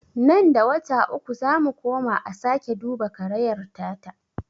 Nan da wata uku zamu koma a sake duba karayar ta ta.